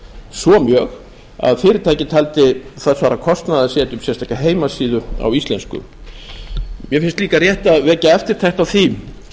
svo mjög að fyrirtækið taldi það svara kostnaði að setja upp sérstaka heimasíðu á íslensku mér finnst líka rétt að vekja eftirtekt á því